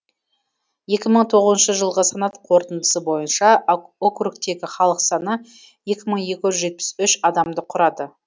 екі мың тоғызыншы жылғы санат қорытындысы бойынша округтегі халық саны екі мың екі жүз жетпіс үш адамды құрады